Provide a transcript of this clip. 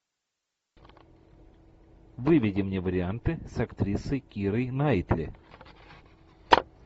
выведи мне варианты с актрисой кирой найтли